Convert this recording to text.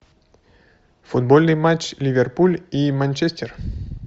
футбольный матч ливерпуль и манчестер